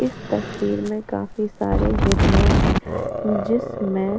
इस तस्वीर में काफी सारे हैं जिस में --